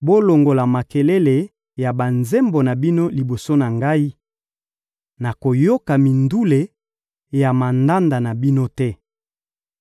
Bolongola makelele ya banzembo na bino liboso na Ngai! Nakoyoka mindule ya mandanda na bino te.